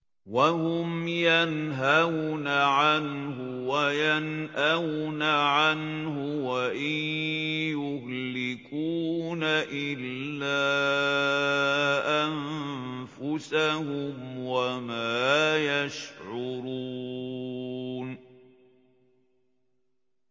وَهُمْ يَنْهَوْنَ عَنْهُ وَيَنْأَوْنَ عَنْهُ ۖ وَإِن يُهْلِكُونَ إِلَّا أَنفُسَهُمْ وَمَا يَشْعُرُونَ